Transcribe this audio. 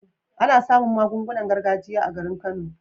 Ana samun magungunan gargajiya a garin kano